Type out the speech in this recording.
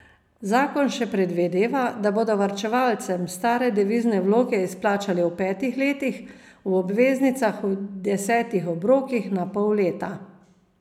Zakon še predvideva, da bodo varčevalcem stare devizne vloge izplačali v petih letih, v obveznicah v desetih obrokih na pol leta.